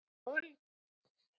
Honum líður ekki vel núna.